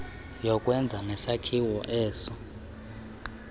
yokwenza nesakhiwo eso